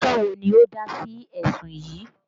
Adájọ́ wo ni ó dá sí ẹ̀sùn yín?